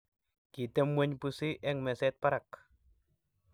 kitemweny pusi eng meset barak